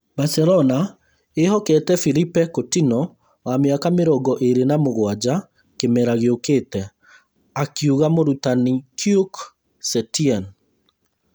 Barcelona ĩĩhokete Philippe Coutinho wa mĩaka mĩrongo ĩĩrĩ na mũgwanja kĩmera gĩũkĩte, akiuga mũrutani Quique Setien.